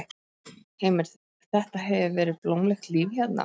Heimir: Þetta hefur verið blómlegt líf hérna?